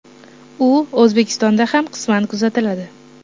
U O‘zbekistonda ham qisman kuzatiladi.